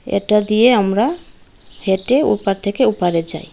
এটা দিয়ে আমরা হেঁটে ওপার থেকে ওপারে যাই।